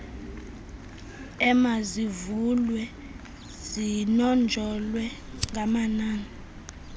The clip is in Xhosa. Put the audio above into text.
emazivulwe zinonjolwe ngamanani